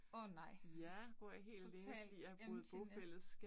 Åh nej. Total emptyness